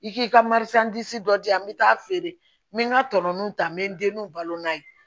I k'i ka dɔ di yan n bɛ taa feere n bɛ n ka tɔnɔ ta n bɛ n denw balo n'a ye